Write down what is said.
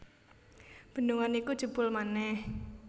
Bendungan iku jebol manèh